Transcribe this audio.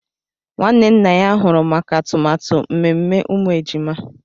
Nwanne nna ya huru maka atụmatụ mmemme umu ejima